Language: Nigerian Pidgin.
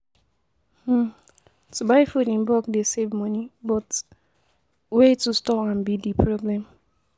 um To buy food in bulk dey save money but um way to store am be di problem.